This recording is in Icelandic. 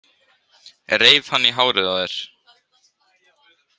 Reif hann í hárið á þér?